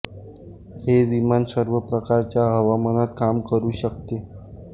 हे विमान सर्व प्रकारच्या हवामानात काम करू शकते